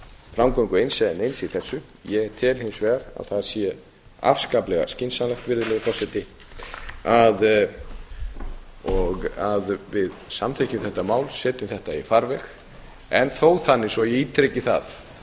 framgöngu eins eða neins í þessu ég tel hins vegar að það sé afskaplega skynsamlegt virðulegi forseti að við samþykkjum þetta mál setjum þetta í farveg en þó þannig svo ég ítreki það